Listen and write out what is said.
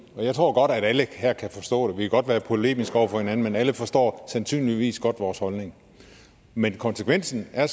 og jeg tror godt at alle her kan forstå det godt være polemiske over for hinanden men alle forstår sandsynligvis godt vores holdning men konsekvensen af at